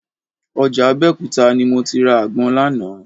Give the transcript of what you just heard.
Ọjà Abẹ́òkúta ni mo ti ra àgbọn lánàá